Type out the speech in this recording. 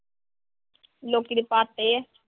ਲੋਕੀ ਤਾਂ ਆ।